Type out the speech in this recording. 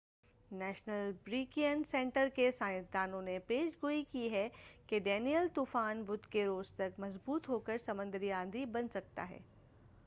national Hurricane Center کے سائنسدانوں نے پیش گوئی کی ہے کہ ڈینیئل طوفان بدھ کے روز تک مضبوط ہوکر سمندری آندھی بن سکتا ہے